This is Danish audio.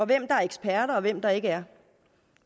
hvem der er eksperter og hvem der ikke er